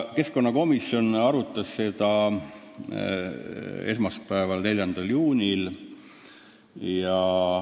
Keskkonnakomisjon arutas seda esmaspäeval, 4. juunil.